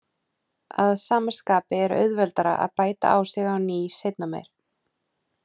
Að sama skapi er auðveldara að bæta á sig á ný seinna meir.